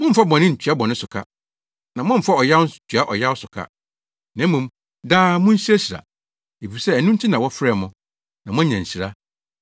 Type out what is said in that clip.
Mommfa bɔne ntua bɔne so ka, na mommfa ɔyaw nso ntua ɔyaw so ka. Na mmom, daa munhyirahyira, efisɛ ɛno nti na wɔfrɛɛ mo, na moanya nhyira.